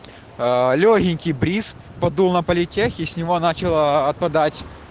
аа лёгенький бриз подул на политех и с него начало отпадать